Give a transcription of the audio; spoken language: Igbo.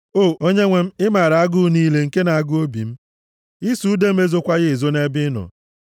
O Onyenwe m, ị maara agụụ niile nke na-agụ obi m; ịsụ ude m ezokwaghị ezo nʼebe ị nọ.